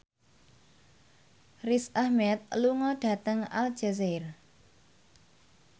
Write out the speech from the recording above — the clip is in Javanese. Riz Ahmed lunga dhateng Aljazair